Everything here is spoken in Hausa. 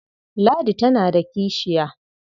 Ladi tana da kishiya.